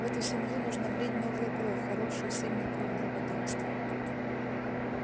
в эту семью нужно влить новую кровь хорошую сильную кровь для потомства